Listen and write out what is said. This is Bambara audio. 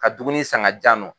Ka dukuni san ka di yan nɔ.